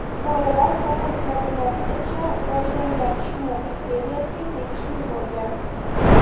Bolalar Kolumb madaniyatigacha rivojlangan Chimu imperiyasiga tegishli bo‘lgan.